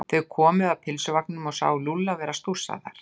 Þau komu að pylsuvagninum og sáu Lúlla vera að stússa þar.